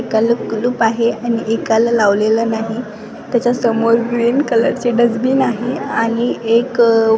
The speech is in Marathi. कल्ल कुलूप आहे आणि एकाला लावलेलं नाही त्याच्यासमोर ग्रीन कलरचे डस्टबिन आहे आणि एक --